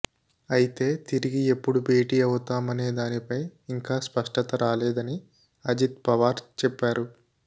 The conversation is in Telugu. అయితే తిరిగి ఎప్పుడు భేటీ అవుతామనేదానిపై ఇంకా స్పష్టత రాలేదని అజిత్ పవార్ చెప్పారు